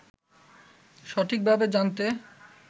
সঠিকভাবে জানতে